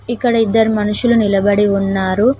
ఇక్కడ ఇద్దరు మనుషులు నిలబడి ఉన్నారు.